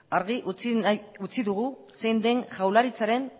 argi utzi dugu zein den jaurlaritzaren